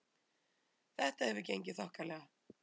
Þetta hefur gengið þokkalega